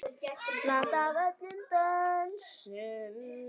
Blanda af öllum dönsum.